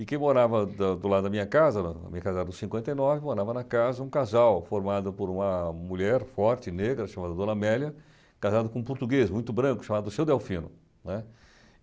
E quem morava da do lado da minha casa, a minha casa era do cinquenta e nove, morava na casa um casal formado por uma mulher forte, negra, chamada Dona Amélia, casada com um português muito branco, chamado Seu Delfino, né.